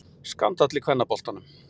Skandall í kvennaboltanum.